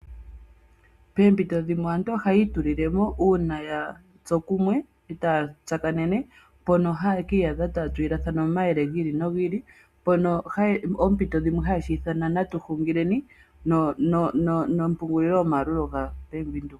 Poompito dhimwe aantu ohaya itulilemo uuna ya tsu kumwe eta ya tsakanene mpono haye kiiyadha taya tulilathana mo omayele gi ili nogi ili mpono thimbo limwe haye shi ithana natu hungileni opamwe nompungulilo yaBank Windhoek.